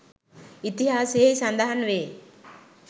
ඉතිහාසයෙහි සඳහන් වේ.